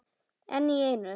Einn í einu.